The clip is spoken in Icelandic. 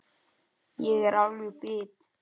Ég er alveg bit!